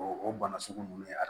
O o bana sugu ninnu a